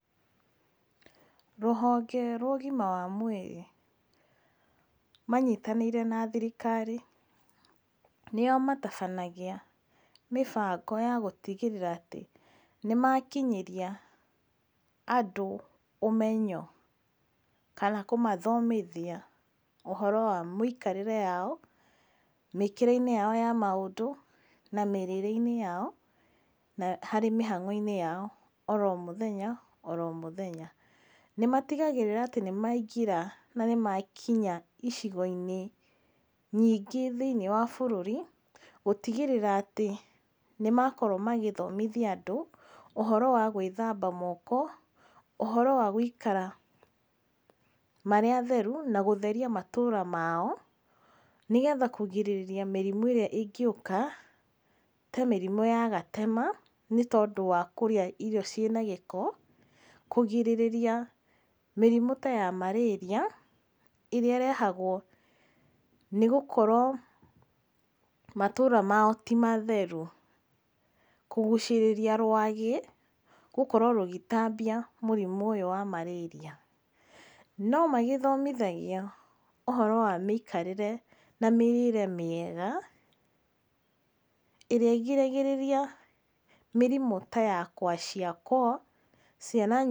Rũhonge rwa ũgima wa mwĩrĩ, manyitanĩie na thirikari, nĩo matabanagia mĩbango ya gũtigĩrĩra atĩ nĩ makinyĩrĩria andũ ũmenyo, kana kũmathomithia ũhoro wa mĩikarĩre yao, mĩkĩre-inĩ yao ya maũndũ, na mĩrĩre yao na harĩ mĩhang'o ya o ro mũthenya o ro mũthenya. Nĩ matigagĩrĩra atĩ nĩ maingĩra na nĩmakinya icigi-inĩ nyingĩ thĩiniĩ wa bũrũri, gũtigĩrĩra atĩ nĩmakorwo magĩthomithia and ũhoro wa gwĩthamba moko, ũhoro wa gũikara marĩ atheru, na gũtheria matũra mao, nĩgetha kũrigĩrĩria mĩrimũ ĩrĩa ĩngĩũka, ta mĩriũ ya gatema, nĩ tondũ wa kũrĩa irio ciĩ na gĩko, kũrigĩrĩria mĩrimũ ta ya Marĩrĩa ĩrĩa ĩrehagwo nĩ gũtigĩrĩra matũra mao ti matheru. Kũgucĩrĩria rwagĩ gũkorwo rũgĩtambia mũrimũ ũyũ wa marĩria. No mathomithagia ũhoro wa mĩikarĩre na mĩrĩre mĩega, ĩrĩa ĩrigagĩrĩria mĩrimũ ta ya kwashiakor, ciana nyingĩ...